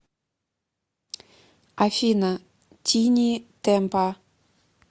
афина тини темпа